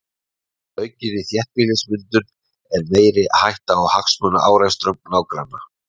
Með aukinni þéttbýlismyndun er meiri hætta á hagsmunaárekstrum nágranna.